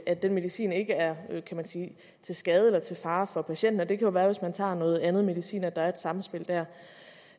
at den medicin ikke er til skade eller til fare for patienten det kan være hvis man tager noget andet medicin og der er et sammenspil der